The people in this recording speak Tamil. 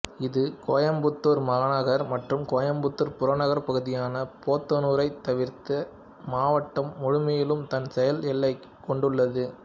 இது கோயம்புத்தூர் மாநகர் மற்றும் கோயம்புத்தூர் புறநகர் பகுதியான போத்தனுரைத் தவிர்த்து மாவட்டம் முழுமையிலும் தன் செயல் எல்லையைக் கொண்டுள்ளது